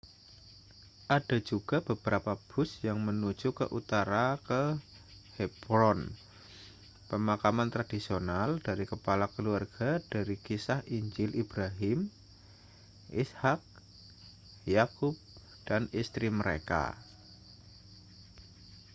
ada juga beberapa bus yang menuju ke utara ke hebron pemakaman tradisional dari kepala keluarga dari kisah injil ibrahim ishak yakub dan istri mereka